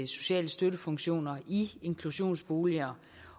sociale støttefunktioner i inklusionsboliger